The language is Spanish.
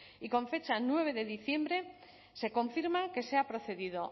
y con fecha nueve de diciembre se confirma que se ha procedido